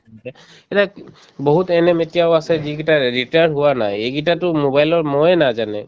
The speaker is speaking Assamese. এতিয়া বহুত ANM এতিয়াও আছে যিকেইটাৰ retired হোৱা নাই এইকেইটাইতো mobile ৰ ম য়ে নাজানে